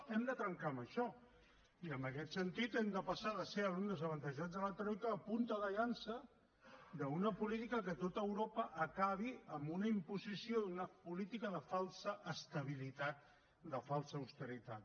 hem de trencar amb això i en aquest sentit hem de passar de ser alumnes avantatjats de la troica a punta de llança d’una política que a tot europa acabi amb una imposició d’una política de falsa estabilitat de falsa austeritat